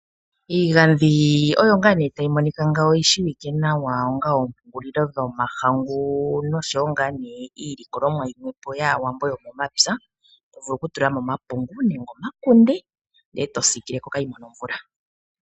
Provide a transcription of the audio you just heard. Iigandhi oyo ngaa nee tayi monika ngawo , oyishiwike nawa onga oompungulilo dhomahangu noshowo ngaanee iilikololwa yomwepo yaAwambo yomomapya tovulu okutulamo omapungu nenge omakunde ndele eto siikileko kaayimone omvula